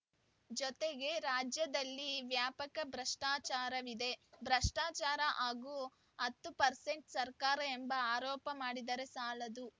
ಜತೆಗೆ ರಾಜ್ಯದಲ್ಲಿ ವ್ಯಾಪಕ ಭ್ರಷ್ಟಾಚಾರವಿದೆ ಭ್ರಷ್ಟಾಚಾರ ಹಾಗೂ ಹತ್ತು ಪರ್ಸೆಂಟ್‌ ಸರ್ಕಾರ ಎಂಬ ಆರೋಪ ಮಾಡಿದರೆ ಸಾಲದು